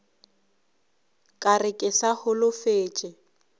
ka re ke sa holofetše